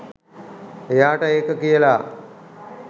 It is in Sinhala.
එයාට ඒක කියලා